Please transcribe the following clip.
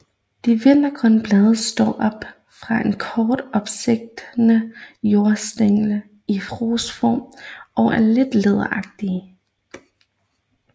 De vintergrønne blade står op fra en kort opstigende jordstængel i rosetform og er lidt læderagtige